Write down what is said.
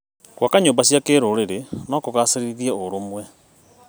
Gwaka nyũmba cia kĩrũrĩrĩ no kũgacĩrithie ũrũmwe.